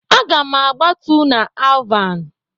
Aga m agbatu na Alvan.